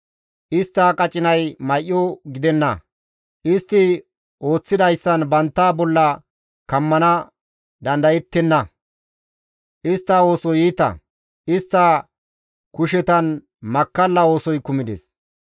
Istta qacinay may7o gidenna; istti ooththidayssan bantta bolla kammana dandayettenna; istta oosoy iita; istta kushetan makkalla oosoy kumides.